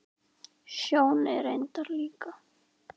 Sjóni reyndar líka.